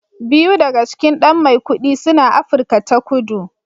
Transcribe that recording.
Biyu daga cikin ɗan Maikudi suna Afirka ta Kudu